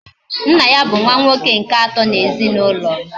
Nna ya bu nwa nwoke nke ato na ezinaulo